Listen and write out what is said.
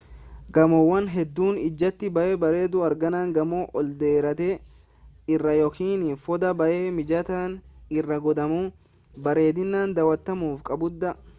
gamoowwan hedduun ijatti baayee bareedu argaan gamoo ol dheeraa irraa yookiin foddaa baayee mijataa irra godhamuu bareedina daawatamuu qabudha